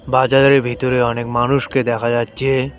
বাজারের ভিতরে অনেক মানুষকে দেখা যাচ্ছে।